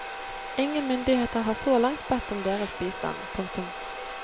Ingen myndigheter har så langt bedt om deres bistand. punktum